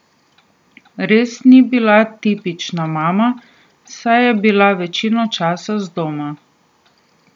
Res ni bila tipična mama, saj je bila večino časa zdoma.